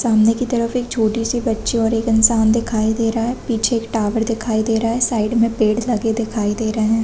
सामने की तरफ एक छोटी सी बच्ची और एक इंसान दिखाई दे रहा है पिछे एक टावर दिखाई दे रहा है साइड मे पेड़ लगे दिखाई दे रहे हैं।